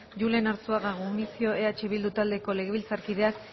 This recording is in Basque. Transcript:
julen arzuaga gumuzio eh bildu taldeko legebiltzarkideak